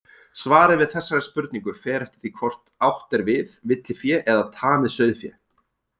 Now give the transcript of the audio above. Svarið við þessari spurningu fer eftir því hvort átt er við villifé eða tamið sauðfé.